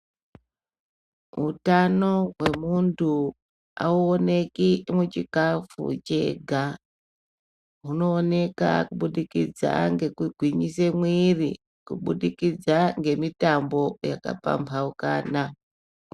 Utano hwemuntu auoneki muchikafu chega. Hunooneka kubudikidza ngekugwinyise mwiiri kubudikidza ngemitambo yakapambaukana.